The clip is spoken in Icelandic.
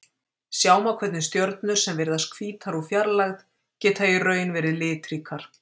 Sjá má hvernig stjörnur sem virðast hvítar úr fjarlægð geta í raun verið litríkar.